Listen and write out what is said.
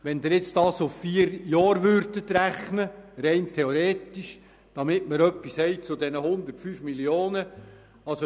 Wenn Sie das auf vier Jahre hinaus rechnen – rein theoretisch als Vergleich zu diesen 105 Mio. Franken: